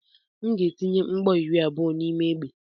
M ga-etinye mgbọ iri na abụọ n'ime egbe.